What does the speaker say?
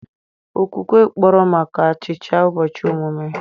Okwukwe kpọrọ maka achicha ụbọchị ọmụmụ.